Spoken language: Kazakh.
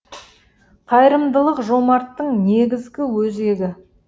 қайырымдылық жомарттың негізгі өзегі